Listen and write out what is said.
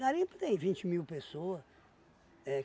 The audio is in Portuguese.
Garimpo tem vinte mil pessoa. É